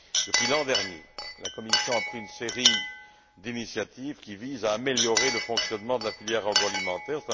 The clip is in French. Depuis l'an dernier, la Commission a pris une série d'initiatives qui visent à améliorer le fonctionnement de la filière agroalimentaire.